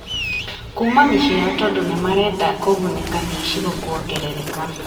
kuuma mĩciĩ yao tondũ nĩ marenda kũgunĩka nĩ icigo kwongerereka.